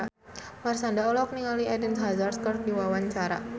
Marshanda olohok ningali Eden Hazard keur diwawancara